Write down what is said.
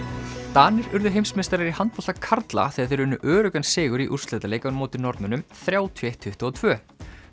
Danir urðu heimsmeistarar í handbolta karla þegar þeir unnu öruggan sigur í úrslitaleik á móti Norðmönnum þrjátíu og eitt til tuttugu og tvö